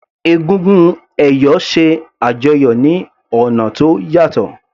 Egúngún ẹ̀yọ̀ ṣe àjọyọ̀ ní ọ̀nà tó yàtọ̀.